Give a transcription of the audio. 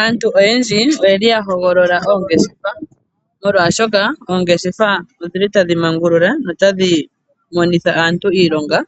Aantu oyendji oyeli ya hogolola oongeshefa molwashoka oongeshefa odhili ta mangulula notadhi monitha aantu iilonga,